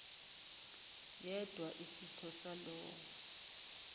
yedwa isitho salowo